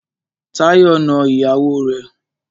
Táyọ̀ na ìyàwó rẹ̀.